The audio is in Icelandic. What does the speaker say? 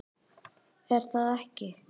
er það ekki?